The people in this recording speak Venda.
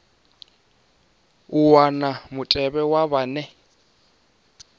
u wana mutevhe wa vhane